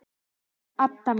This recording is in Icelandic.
Elsku Adda mín.